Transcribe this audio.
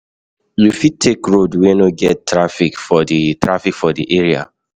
You fit take road wey no get traffic for di traffic for di area